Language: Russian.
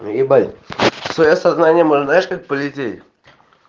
ебать в своё сознание можно знаешь как полететь